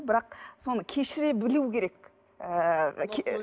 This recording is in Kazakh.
бірақ соны кешіре білу керек ы